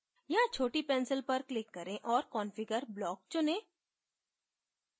यहाँ छोटी pencil पर click करें औऱ configure block चुनें